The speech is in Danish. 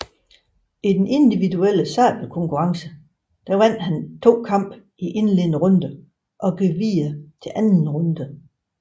I den individuelle sabelkonkurrence vandt han to kampe i indledende runde og gik videre til anden runde